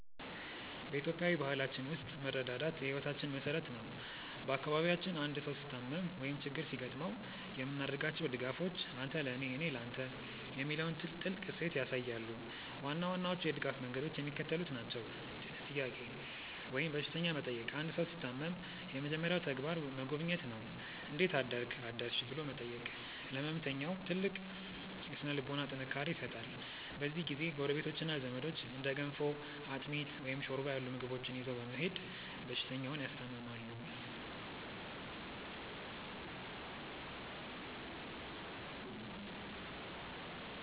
በኢትዮጵያዊ ባህላችን ውስጥ መረዳዳት የሕይወታችን መሠረት ነው። በአካባቢያችን አንድ ሰው ሲታመም ወይም ችግር ሲገጥመው የምናደርጋቸው ድጋፎች "አንተ ለኔ፣ እኔ ለተ" የሚለውን ጥልቅ እሴት ያሳያሉ። ዋና ዋናዎቹ የድጋፍ መንገዶች የሚከተሉት ናቸው፦ "ጥያቄ" ወይም በሽተኛ መጠየቅ አንድ ሰው ሲታመም የመጀመሪያው ተግባር መጎብኘት ነው። "እንዴት አደርክ/ሽ?" ብሎ መጠየቅ ለሕመምተኛው ትልቅ የሥነ-ልቦና ጥንካሬ ይሰጣል። በዚህ ጊዜ ጎረቤቶችና ዘመዶች እንደ ገንፎ፣ አጥሚት፣ ወይም ሾርባ ያሉ ምግቦችን ይዘው በመሄድ በሽተኛውን ያስታምማሉ።